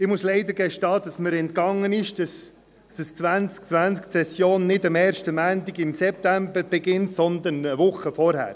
Ich muss leider gestehen, dass es mir entgangen ist, dass die Septembersession 2020 nicht am ersten Montag des Septembers beginnt, sondern eine Woche zuvor.